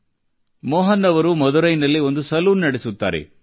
C Mohan ಅವರು ಮಧುರೈನಲ್ಲಿ ಒಂದು ಸಲೂನ್ ನಡೆಸುತ್ತಾರೆ